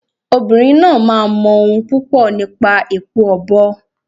Obìnrin náà máa mọ ohun púpọ̀ nípa èpo ọ̀bọ̀.